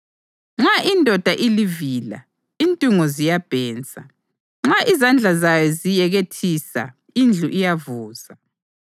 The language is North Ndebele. Nxa indoda ilivila intungo ziyabhensa; nxa izandla zayo ziyekethisa indlu iyavuza.